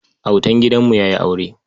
Autan gidanmu ya yi aure.